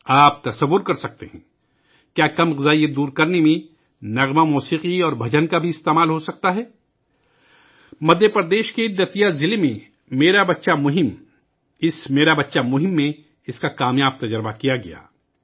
کیا آپ سوچ سکتے ہیں، کیا گانا اور موسیقی اور ترانے بھی تغذیہ کی کمی کو دور کرنے کے لئے استعمال کئے جا سکتے ہیں؟ مدھیہ پردیش کے دتیا ضلع میں ''میرا بچہ ابھیان ''! اس ''میرا بچہ ابھیان '' میں کامیابی کے ساتھ اس کا تجربہ کیا گیا